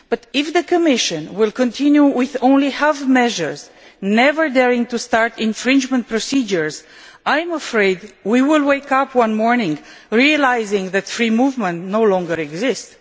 If the Commission continues with only half measures, never daring to start infringement procedures, I am afraid we will wake up one morning realising that free movement no longer exists.